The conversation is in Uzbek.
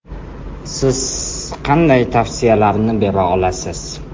Siz qanday tavsiyalarni bera olasiz?